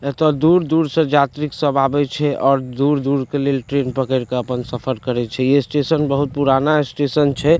एत्तअ दूर-दूर से जात्री सब आबे छयऔर दूर-दूर के लिए ट्रैन पकड़ के अपन सफर करय छे ये स्टेशन बहुत पुराना स्टेशन छे।